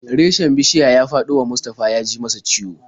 Reshen bishiya ya faɗo wa Mustafa ya ji masa ciwo.